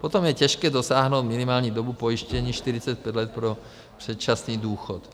Potom je těžké dosáhnout minimální dobu pojištění 45 let pro předčasný důchod.